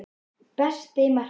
Besti markmaðurinn?